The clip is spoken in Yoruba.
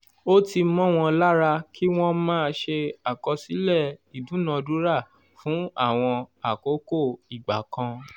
ó ti mó won lára ki wọ́n máa ṣe àkọsílẹ̀ ìdúnadúrà fún àwọn àkókò ìgbà kan